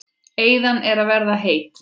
Eyðan er að verða heit.